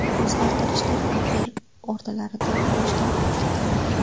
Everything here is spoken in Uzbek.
O‘zgartirishlar aprel o‘rtalaridan boshlab kuchga kiradi.